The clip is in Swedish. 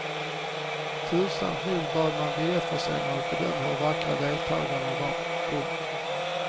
Tursamt nog bad man biljettförsäljarna att bedöma hur vackra deltagarna var. punkt